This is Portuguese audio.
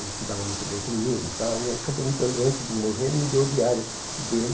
Ele se dava muito bem comigo e tal e ele acabou me dando antes de morrer, ele me deu o diário dele.